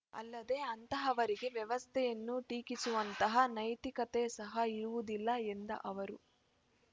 ಅಲ್ಲದೆ ಅಂತವರಿಗೆ ವ್ಯವಸ್ಥೆಯನ್ನು ಟೀಕಿಸುವಂತಹ ನೈತಿಕತೆ ಸಹ ಇರುವುದಿಲ್ಲ ಎಂದ ಅವರು